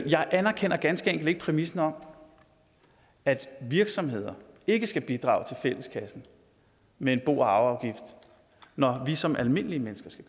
jeg anerkender ganske enkelt ikke præmissen om at virksomheder ikke skal bidrage til fælleskassen med en bo og arveafgift når vi som almindelige mennesker skal